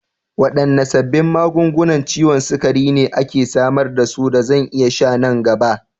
Waɗanne sabbin magungunan ciwon sukari ne ake samar da su da zan iya sha nan gaba?